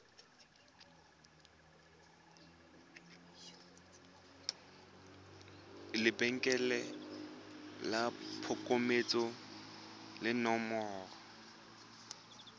lebenkele la phokoletso le nomoro